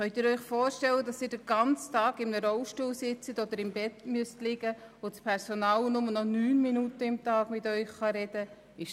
Können Sie sich vorstellen, den ganzen Tag im Rollstuhl oder im Bett zu verbringen, wobei das Personal nur noch 9 Minuten im Tag mit Ihnen sprechen kann?